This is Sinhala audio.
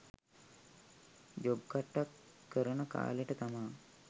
ජොබ් කට්ටක් කරන කාලෙට තමා